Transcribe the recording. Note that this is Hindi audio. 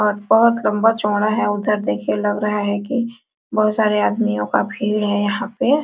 और बहुत लंबा-चौड़ा है उधर देखिए लग रहा है कि बहुत सारे आदमियों का भीड़ है यहां पे।